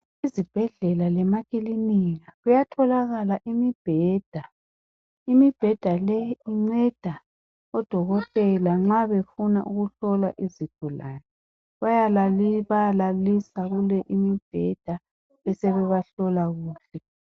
Izibhedlela lemaklinika kuyatholakala imibheda, imibheda leyi inceda odokotela nxa befuna ukuhlola izigulane bayalaliswa kule imibheda besebebahlola kuyo